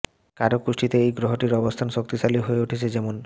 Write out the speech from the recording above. কারও কুষ্টিতে এই গ্রহটির অবস্থান শক্তিশালী হয়ে উঠলে যেমন